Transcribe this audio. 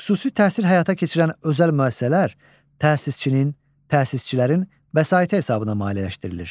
Xüsusi təhsil həyata keçirən özəl müəssisələr təsisçinin, təsisçilərin vəsaiti hesabına maliyyələşdirilir.